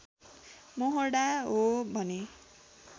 मोहडा हो भने